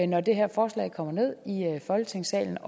når det her forslag kommer ned i folketingssalen